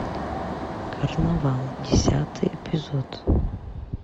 карнавал десятый эпизод